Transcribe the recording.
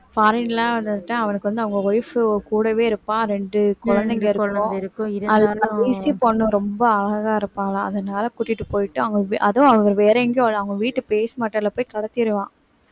foreign லாம் வந்துட்டு அவனுக்கு வந்து அவங்க wife கூடவே இருப்பான் இரண்டு குழந்தைங்க இருக்கும் அது வந்து பொண்ணு ரொம்ப அழகா இருப்பாளாம் அதனாலே கூட்டிட்டு போயிட்டு அவங்க அதுவும் அவங்க வேற எங்கயும் அவங்க வீட்டு போய் கடத்திருவான்